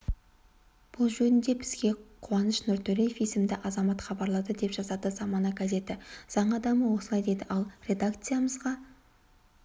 бұл жөнінде бізгеқуаныш нұртөреевесімді азамат хабарлады деп жазады замана газеті заң адамы осылай дейді ал редакциямызға